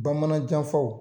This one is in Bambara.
Bamanan janfaw